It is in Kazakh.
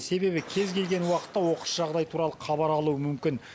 себебі кез келген уақытта оқыс жағдай туралы хабар алуы мүмкін